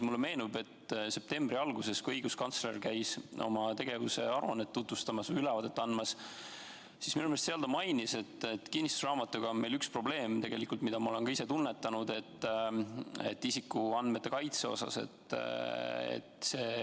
Mulle meenub, et septembri alguses, kui õiguskantsler käis oma tegevuse aruannet tutvustamas, ülevaadet andmas, siis minu meelest seal ta mainis, et kinnistusraamatuga on meil üks probleem – mida ma olen ka ise tunnetanud –, isikuandmete kaitse osas.